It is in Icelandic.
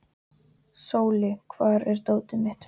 Sóli, hvar er dótið mitt?